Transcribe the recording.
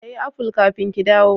Ki siya aful kafin ki dawo.